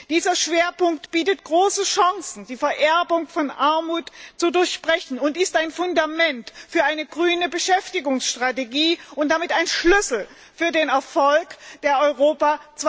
Dieser Schwerpunkt bietet große Chancen, die Vererbung von Armut zu durchbrechen, und ist ein Fundament für eine grüne Beschäftigungsstrategie und damit ein Schlüssel für den Erfolg der Strategie Europa